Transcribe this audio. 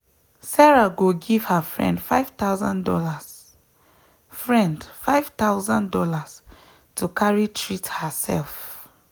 sarah go give her friend five thousand dollars friend five thousand dollars to carry treat herself.